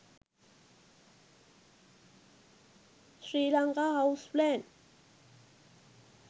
srilanka house plan